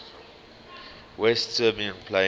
west siberian plain